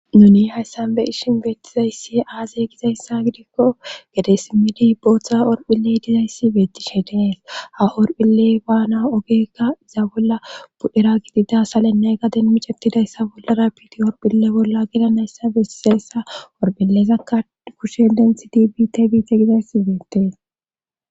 Nuni hayssan be ishin beettizayssi aazey gizayssa gidikko gedesimidi booththa orphilley dizayssi beettishe dees ha orphile waana ogekka iza bolla budhera gidida salennay gaden micetidayssa bollara piti orphille bolla gidanayssa beseessa orphilezakka kushe denthi tibit biite gizayssi beettee